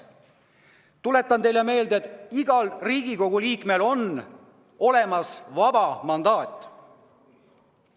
Tuletan teile meelde, et igal Riigikogu liikmel on vaba mandaat.